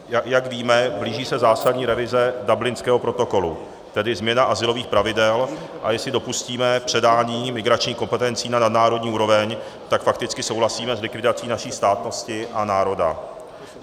Jak víme, blíží se zásadní revize Dublinského protokolu, tedy změna azylových pravidel, a jestli dopustíme předání migračních kompetencí na nadnárodní úroveň, tak fakticky souhlasíme s likvidací naší státnosti a národa.